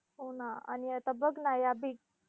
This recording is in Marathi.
हो ना! आणि आता बघ ना या बी